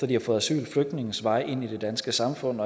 de har fået asyl flygtninges vej ind i det danske samfund